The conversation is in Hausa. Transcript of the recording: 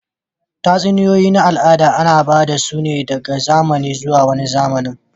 Tatsuniyoyi na al'ada ana ba da su daga zamani zuwa wani zamanin